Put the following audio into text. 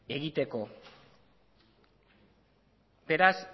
egiteko beraz